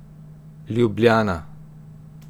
Ljubljana.